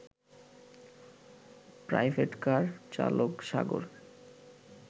private car চালক সাগর